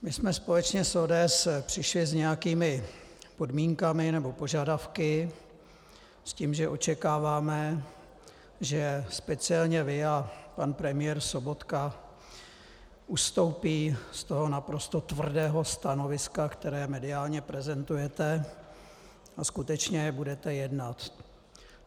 My jsme společně s ODS přišli s nějakými podmínkami nebo požadavky, s tím, že očekáváme, že speciálně vy a pan premiér Sobotka ustoupí z toho naprosto tvrdého stanoviska, které mediálně prezentujete, a skutečně budete jednat.